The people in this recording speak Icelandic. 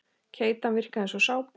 Keytan virkaði eins og sápa.